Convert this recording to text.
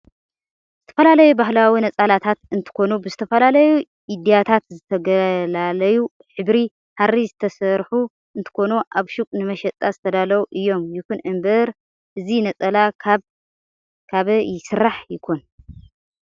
ዝተፈላላዩ ባህላዊ ነፃላታት እንትኮኑ ብዝተፈላለዩ ኢድያታት ዝተገላለዩ ሕብሪ ሃሪ ዝተሰርሑ እንትኮኑ ኣብ ሽቁ ንመሸጣ ዝተደለው እዮም ይኩን እንበር እዚ ነፀላ ካብ ይስራሕ ይኮን ?